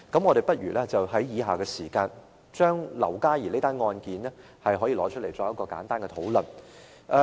我們不如在以下時間，提出劉嘉兒這宗案件，作一個簡單的討論。